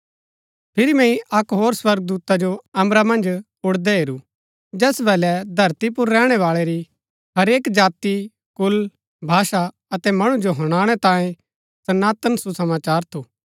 फिरी मैंई अक्क होर स्वर्गदूता जो अम्बरा मन्ज उड़दै हेरू जैस वलै धरती पुर रैहणैवाळै री हरेक जाति कुल भाषा अतै मणु जो हुनाणै तांयें सनातन सुसमाचार थू